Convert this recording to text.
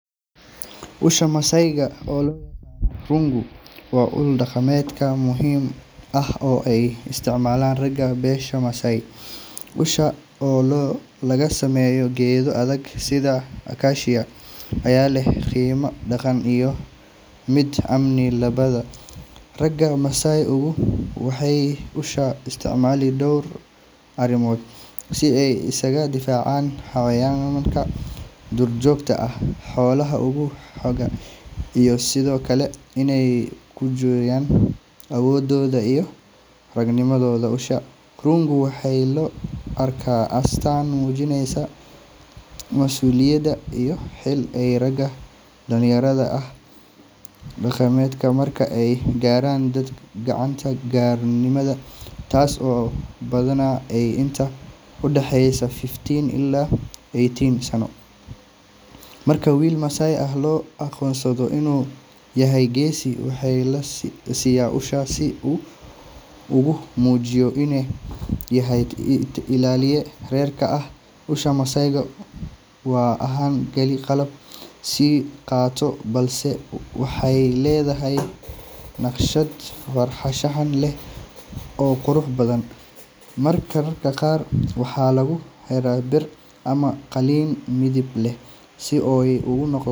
Usha masayga rungu waa ul daqamedka muhim ah olo ay istacmalan raga, besha masay usha oo lagasameyo gedo adhag sidha accasia aya leh, qimo daqan iyo mid ami labada raga masai waxay usha istacmazli dor arimod si aay iskaga difacan xawanka dur jogta ah xolaha oo ugu xogan iyo sidiokale inay kujoyan awododha iyoh ragnimadodha usha rungu, waxay laa arka astan mujineysa mas uliyada iyo xil aay raga dalinyarada ah daqamedka marka aay garan gacanta gari nimada tasi oo badhanah aay inta udaxeysa fifteen ila eighteen sano, marka wil massai ah loo aqonsado inu yahay gesi waxa lasiya ushasi ogu mujiyo ini yahay ilaliye rerka usha masayga waa ahan keli qalab si qato balse waxay ledahay naqshad farashaxan leh oo quraxbadhan marka raga qar waxa lagu hela dir amah qalin midib leh sii aay ogunoqoto.